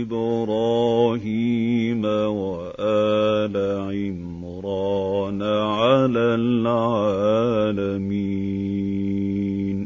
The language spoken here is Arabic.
إِبْرَاهِيمَ وَآلَ عِمْرَانَ عَلَى الْعَالَمِينَ